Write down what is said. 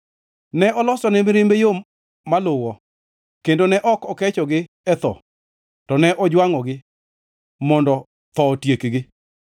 Ne olosone mirimbe yo maluwo, kendo ne ok okechogi e tho, to ne ojwangʼogi, mondo tho otiekgi.